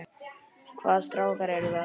Hvaða strákar eru það?